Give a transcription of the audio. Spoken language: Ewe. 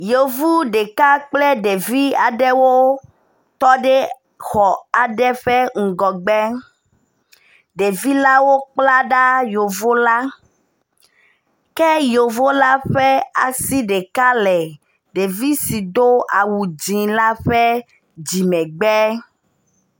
Yevu ɖeka kple ɖevi aɖewo tɔ ɖe xɔ aɖe ƒe ŋgɔgbe, ɖevi lawo kpla ɖa yevu la. Ke yevu la ɔe asi ɖeka le ɖevi si do awu dzɛ̃ la ɔe dzimegbe.